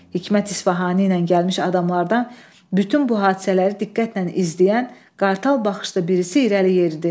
Hikmət İsfahani ilə gəlmiş adamlardan bütün bu hadisələri diqqətlə izləyən qartal baxışlı birisi irəli yeridi.